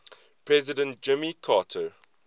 president jimmy carter